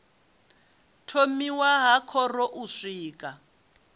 thomiwa ha khoro u swika